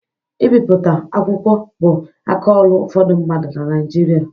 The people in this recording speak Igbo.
Ibipụta akwụkwọ bu aka ọrụ ụfọdụ mmadụ na Naịjirịa.